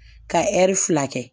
Ka fila kɛ